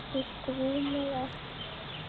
Okkur grunaði ekki neitt.